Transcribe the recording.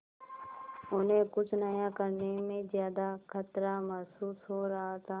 उन्हें कुछ नया करने में ज्यादा खतरा महसूस हो रहा था